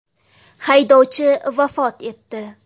Haydovchi vafot etdi.